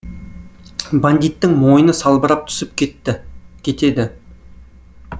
бандиттің мойыны салбырап түсіп кетті кетеді